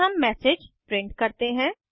फिर हम MSG print करते हैं